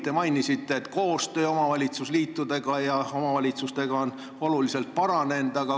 Te mainisite, et koostöö omavalitsusliitude ja omavalitsustega on paranenud.